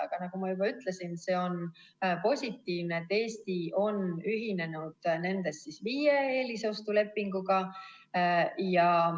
Aga nagu ma juba ütlesin, siis see on positiivne, et Eesti on ühinenud nendest viie eelostulepinguga.